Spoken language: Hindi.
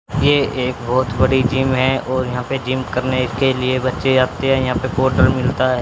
ये एक बहुत बड़ी जिम है और यहां पे जिम करने के लिए बच्चे आते हैं यहां पे पावडर मिलता है।